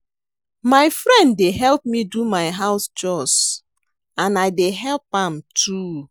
My friend dey help me do my house chores and I dey help am too